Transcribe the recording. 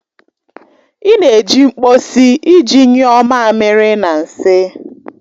Ị na-eji mkposi iji nyuo mamiri na nsị